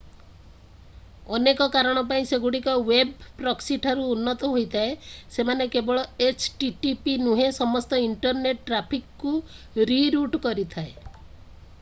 ଅନେକ କାରଣ ପାଇଁ ସେଗୁଡିକ ୱେବ୍ ପ୍ରକ୍ସିଠାରୁ ଉନ୍ନତ ହୋଇଥାଏ ସେମାନେ କେବଳ http ନୁହେଁ ସମସ୍ତ ଇଣ୍ଟରନେଟ୍ ଟ୍ରାଫିକକୁ ରିରୁଟ କରିଥାଏ